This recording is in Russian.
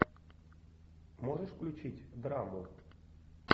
можешь включить драму